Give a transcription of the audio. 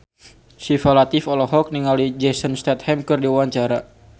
Syifa Latief olohok ningali Jason Statham keur diwawancara